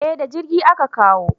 Eh da jirgi a Ka kawo